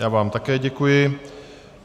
Já vám také děkuji.